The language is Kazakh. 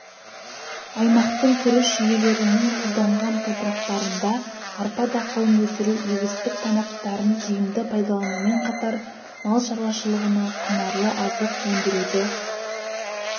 аймақтың күріш жүйелерінің тұзданған топырақтарында арпа дақылын өсіру егістік танаптарын тиімді пайдаланумен қатар мал шаруашылығына құнарлы азық өндіруді